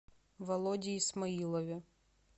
володе исмаилове